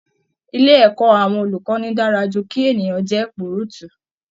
Ilé ẹ̀kọ́ àwọn olùkọ́ni dára ju kí ènìyàn jẹ́ púrùtù